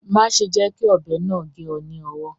Má ṣe jẹ́ kí ọ̀bẹ náà gé ọ ní owọ́